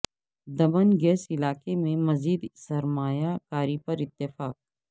د من گیس علا قہ میں مزید سرمایہ کاری پر اتفاق